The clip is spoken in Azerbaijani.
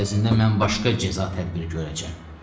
Əvəzində mən başqa cəza tədbiri görəcəm.